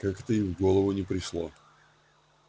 как-то и в голову не пришло